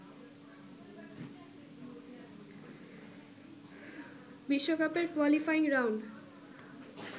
বিশ্বকাপের qualifying round